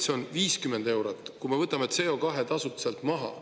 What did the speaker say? See on 50 eurot, kui me võtame CO2-tasud sealt maha.